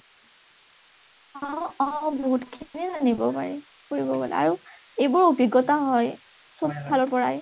অ অ বাহুত খিনি জানিব পাৰি ফুৰিব গলে আৰু এইবোৰ অভিজ্ঞতা হয় চব ফালৰ পৰাই